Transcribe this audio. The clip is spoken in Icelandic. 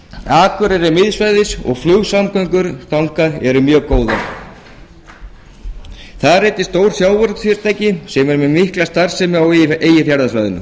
akureyri er miðsvæðis og flugsamgöngur þangað eru mjög góðar þar eru einnig stór sjávarútvegsfyrirtæki sem eru með mikla starfsemi á eyjafjarðarsvæðinu